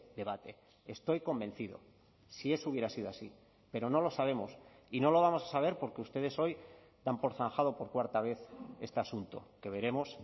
debate estoy convencido si eso hubiera sido así pero no lo sabemos y no lo vamos a saber porque ustedes hoy dan por zanjado por cuarta vez este asunto que veremos